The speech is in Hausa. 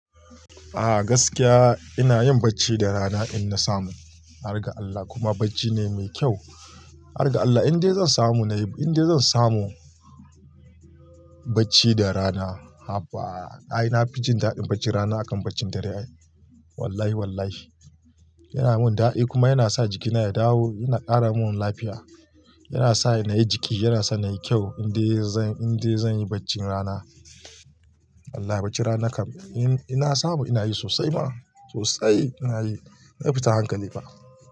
A gaskiya ina yin bacci da rana in na samu. Har ga Allah kuma bacci ne mai kyau. Har ga Allah inde zan samu na yi, inda zan samu bacci da rana. Haba ai na fi jin daɗin bacci rana akan bacci dare. Wallahi wallahi yana mun dadi kuma yana sa jikina ya dawo, yana ƙara mun lafiya, yana sa na yi jiki, yana sa na yi kyau. Inde zan, inde zan yi baccin rana. Wallahi baccin rana kam in na samu ina yi sosai ma sosai ina yi. Na fitan hankali fa.